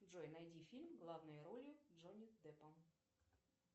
джой найди фильм главной ролью джонни дэппом